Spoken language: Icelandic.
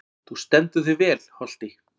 Þú stendur þig vel, Holti!